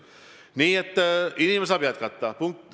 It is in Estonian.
Nii et inimene saab jätkata.